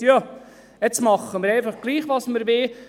Wir machen jetzt doch einfach, was wir wollen.